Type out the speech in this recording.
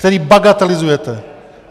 Který bagatelizujete.